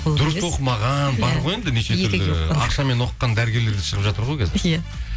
дұрыс оқымаған бар ғой нешетүрлі ақшамен оқыған дәрігерлер де шығып жатыр ғой қазір иә